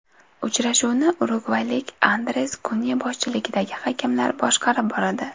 Uchrashuvni urugvaylik Andres Kunya boshchiligidagi hakamlar boshqarib boradi.